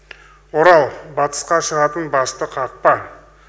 орал батысқа шығатын басты қақпа